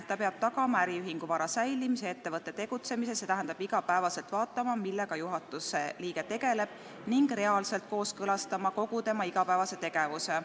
Ta peab tagama äriühingu vara säilimise ja ettevõtte tegutsemise, st iga päev vaatama, millega juhatuse liige tegeleb, ning reaalselt kooskõlastama kogu tema igapäevase tegevuse.